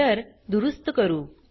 error दुरुस्त करू